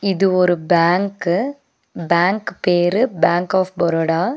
இது ஒரு bank bank பேரு பேங்க் ஆப் பரோடா .